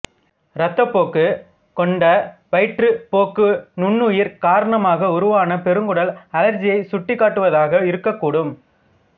இரத்தப் போக்கு கொண்ட வயிற்றுப் போக்கு நுண்ணுயிர் காரணமாக உருவான பெருங்குடல் அழற்சியைச் சுட்டிக் காட்டுவதாக இருக்கக் கூடும்